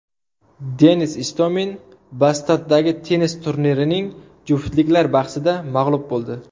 Denis Istomin Bastaddagi tennis turnirining juftliklar bahsida mag‘lub bo‘ldi.